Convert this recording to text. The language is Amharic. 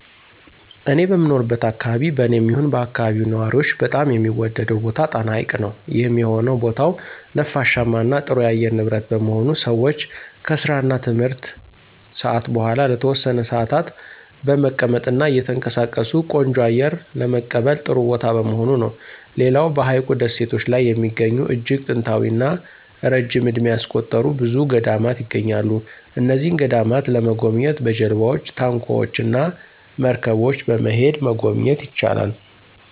እኔ በምኖርበት አከባቢ በኔም ይሁን በአከባቢው ነዋሪዎች በጣም የሚወደደው ቦታ ጣና ሀይቅ ነው። ይህም የሆነው ቦታው ነፋሻማ እና ጥሩ የአየር ንብረት በመሆኑ ሰወች ከስራ እና ትምህርት ሰአት በኋላ ለተወሰነ ሰአታት በመቀመጥ እና እየተንቀሳቀሱ ቆንጆ አየር ለመቀበል ጥሩ ቦታ በመሆኑ ነው። ሌላው በሀይቁ ደሴቶች ላይ የሚገኙ እጅግ ጥንታዊ እና ረጅም እድሜ ያስቆጠሩ ብዙ ገዳማት ይገኛሉ። እነዚህን ገዳማት ለመጎብኘት በጀልባወች፣ ታንኳወች እና መርገቦች በመሄድ መጎብኘት ይቻላል።